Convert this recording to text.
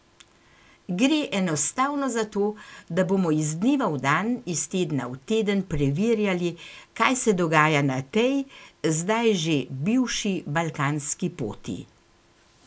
Gre enostavno za to, da bomo iz dneva v dan, iz tedna v teden preverjali kaj se dogaja na tej, zdaj že bivši balkanski poti.